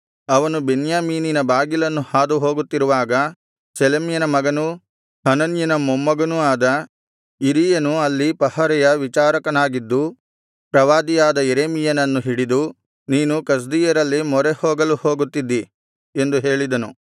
ಅವನು ಬೆನ್ಯಾಮೀನಿನ ಬಾಗಿಲನ್ನು ಹಾದುಹೋಗುತ್ತಿರುವಾಗ ಶೆಲೆಮ್ಯನ ಮಗನೂ ಹನನ್ಯನ ಮೊಮ್ಮಗನೂ ಆದ ಇರೀಯನು ಅಲ್ಲಿ ಪಹರೆಯ ವಿಚಾರಕನಾಗಿದ್ದು ಪ್ರವಾದಿಯಾದ ಯೆರೆಮೀಯನನ್ನು ಹಿಡಿದು ನೀನು ಕಸ್ದೀಯರಲ್ಲಿ ಮೊರೆಹೋಗಲು ಹೋಗುತ್ತಿದ್ದಿ ಎಂದು ಹೇಳಿದನು